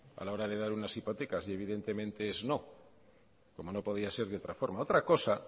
a la hora de dar unas hipotecas y evidentemente es no como no podía ser de otra forma otra cosa